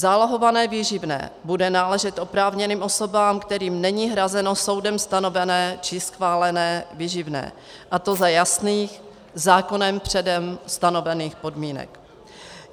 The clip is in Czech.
Zálohované výživné bude náležet oprávněným osobám, kterým není hrazeno soudem stanovené či schválené výživné, a to za jasných, zákonem předem stanovených podmínek.